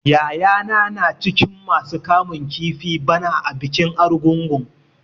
Yayana na cikin masu kamun kifi bana a bikin Argungun.